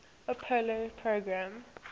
apollo program